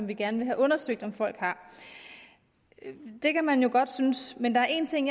vi gerne have undersøgt om folk har det kan man jo godt synes men der er en ting